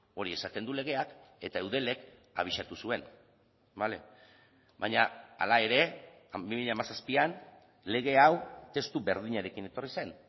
hori esaten du legeak eta eudelek abisatu zuen bale baina hala ere bi mila hamazazpian lege hau testu berdinarekin etorri zen